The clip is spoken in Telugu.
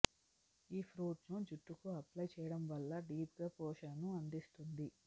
ఈ ఫ్రూట్ ను జుట్టుకు అప్లై చేయడం వల్ల డీప్ గా పోషణను అందిస్తుంది